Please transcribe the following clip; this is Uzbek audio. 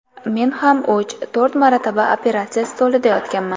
Men ham uch, to‘rt marta operatsiya stolida yotganman.